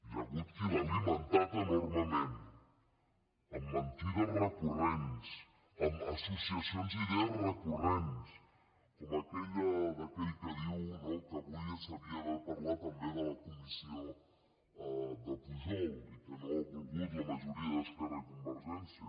hi ha hagut qui l’ha alimentat enormement amb mentides recurrents amb associacions d’idees recurrents com aquella d’aquell que diu no que avui s’havia d’haver parlat també de la comissió de pujol i que no ho ha volgut la majoria d’esquerra i convergència